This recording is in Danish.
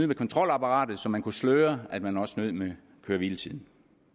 med kontrolapparatet så man kunne sløre at man også snød med køre hvile tiden